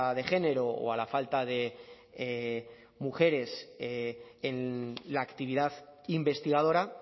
de género o a la falta de mujeres en la actividad investigadora